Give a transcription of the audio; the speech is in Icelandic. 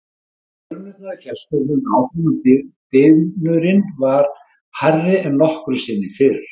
En drunurnar í fjarska héldu áfram og dynurinn var hærri en nokkru sinni fyrr.